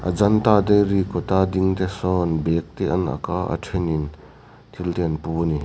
ajanta dairy kawt a ding te sawn bag te an ak a a then in thil te an pu a ni.